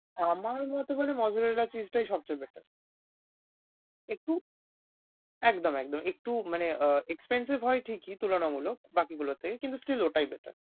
আমার মতে মানে mozzarella cheese টাই সবচেয়ে better । একটু একদম একদম একটু মানে আহ expensive হয় ঠিকই তুলনামূলক বাকিগুলোর থেকে কিন্তু still ওটাই better ।